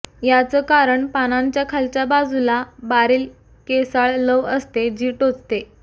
याचं कारण पानांच्या खालच्या बाजूला बारील केसाळ लव असते जी टोचते